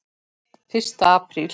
Fyrsta apríl.